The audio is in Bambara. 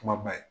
Kumaba ye